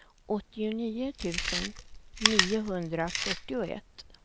åttionio tusen niohundrafyrtioett